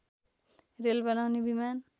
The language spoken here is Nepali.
रेल बनाउने विमान